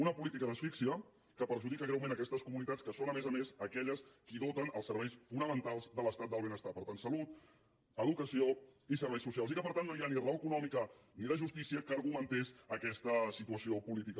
una política d’asfíxia que perjudica greument aquestes comunitats que són a més a més aquelles que doten els serveis fonamentals de l’estat del benestar per tant salut educació i serveis socials i que per tant no hi ha ni raó econòmica ni de justícia que argumenti aquesta situació política